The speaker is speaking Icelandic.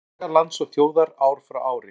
Saga lands og þjóðar ár frá ári.